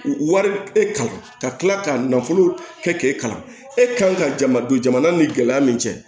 Wari e kalan ka tila ka nafolo kɛ k'e kalan e kan ka jama don jamana ni gɛlɛya min cɛ